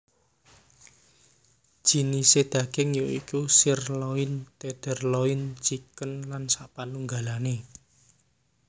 Jinisé daging ya iku sirloin tenderloin chicken lan sapanunggalane